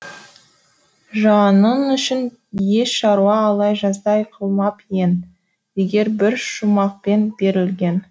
жаның үшін еш шаруа ала жаздай қылмап ең деген бір шумақпен берілген